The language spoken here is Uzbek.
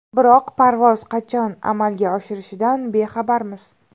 Biroq parvoz qachon amalga oshirishidan bexabarmiz.